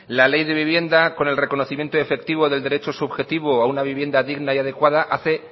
la ley de vivienda con el reconocimiento efectivo del derecho subjetivo a una vivienda digna y adecuada hace